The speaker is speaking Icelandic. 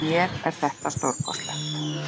Fyrir mér er þetta stórkostlegt.